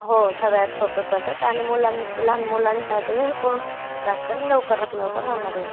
हो सर्वात सोपी पद्धत आणि लहान मुलांसाठी पौष्टिक आणि लवकरात लवकर होणारी असते.